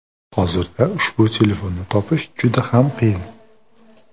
Hozirda ushbu telefonni topish juda ham qiyin.